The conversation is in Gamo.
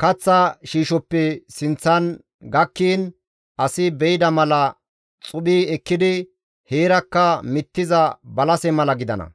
kaththa shiishoppe sinththan gakkiin asi be7ida mala xuphi ekkidi heerakka mittiza balase mala gidana.